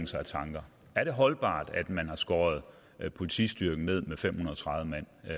sig af tanker er det holdbart at man har skåret politistyrken ned med fem hundrede og tredive mand